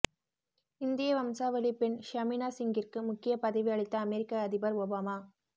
இந்திய வம்சாவளி பெண் ஷமினா சிங்கிற்கு முக்கிய பதவி அளித்த அமெரிக்க அதிபர் ஒபாமா